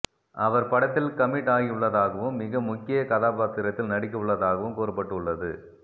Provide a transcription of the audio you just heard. அவர் படத்தில் கமிட் ஆகி உள்ளதாகவும் மிக முக்கிய கதா பாத்திரத்தில் நடிக்க உள்ளதாகவும் கூறப்பட்டு உள்ளது